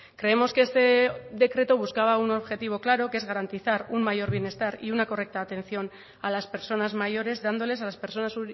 creemos que este decreto buscaba un objetivo claro que es garantizar un mayor bienestar y una correcta atención a las personas mayores dándoles a las personas